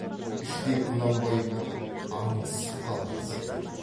іштей құнанбаймен аңдысып қалған сияқты